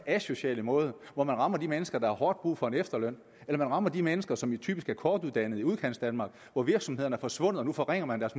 asociale måde hvor man rammer de mennesker der har hårdt brug for en efterløn eller man rammer de mennesker som typisk er kortuddannede i udkantsdanmark hvor virksomhederne er forsvundet og nu forringer man deres